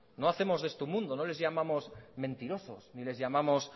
no hacemos de esto un mundo no les llamamos mentirosos ni les llamamos